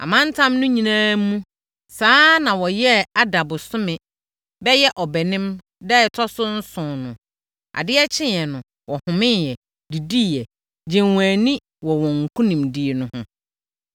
Amantam no nyinaa mu, saa ara na wɔyɛɛ Adar bosome (bɛyɛ Ɔbɛnem) da a ɛtɔ so nson no. Adeɛ kyeeɛ no, wɔhomeeɛ, didiiɛ, gyee wɔn ani wɔ wɔn nkonimdie no ho.